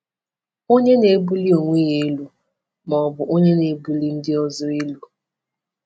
Onye na-ebuli onwe ya elu ma ọ bụ onye na-ebuli ndị ọzọ elu?